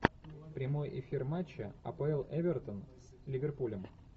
прямой эфир матча апл эвертон с ливерпулем